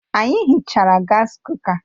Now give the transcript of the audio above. Anyị hichara gas kuka